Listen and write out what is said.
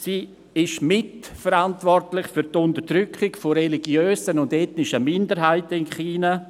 Sie ist mitverantwortlich für die Unterdrückung von religiösen und ethnischen Minderheiten in China.